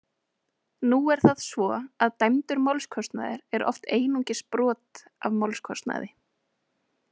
Nú er það svo að dæmdur málskostnaður er oft einungis brot af málskostnaði.